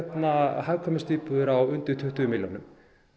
hagkvæmustu íbúðir á undir tuttugu milljónum